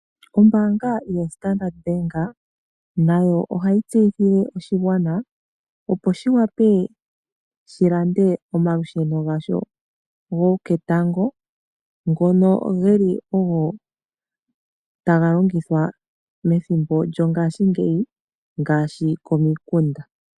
Ombaanga yo Standard Bank nayo ohayi tseyithile oshigwana, opo shi wape shi lande omalusheno gasho goketango ngono geli ogo taga longithwa methimbo lyongashingeyi ngaashi komikunda.